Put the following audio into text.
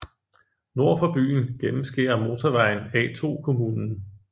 Nord for byen gennemskærer motorvejen A2 kommunen